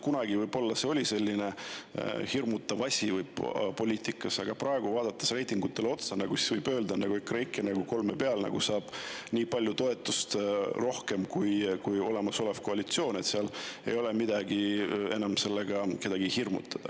Kunagi see võib-olla oli poliitikas hirmutav asi, aga praegu, vaadates reitingutele otsa, võib öelda, et EKREIKE saab kolme peale nii palju toetust rohkem kui olemasolev koalitsioon, nii et enam ei ole sellega kedagi hirmutada.